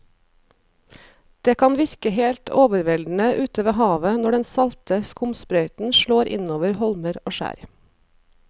Det kan virke helt overveldende ute ved havet når den salte skumsprøyten slår innover holmer og skjær.